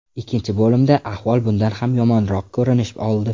Ikkinchi bo‘limda ahvol bundan ham yomonroq ko‘rinish oldi.